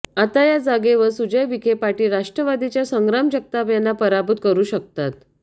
आता या जागेवर सुजय विखे पाटील राष्ट्रवादीच्या संग्राम जगताप यांना पराभूत करू शकतात